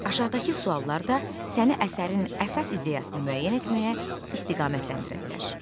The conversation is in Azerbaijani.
Aşağıdakı suallar da səni əsərin əsas ideyasını müəyyən etməyə istiqamətləndirə bilər.